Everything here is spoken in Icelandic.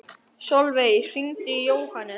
Sölvey, hringdu í Jóhannes.